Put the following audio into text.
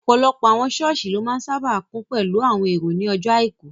Ọ̀pọ̀lọpọ̀ àwọn sọ́ọ̀sì ló máa n sáábà kún pẹ̀lú àwọn èrò ní àwọn ọjọ́ àìkú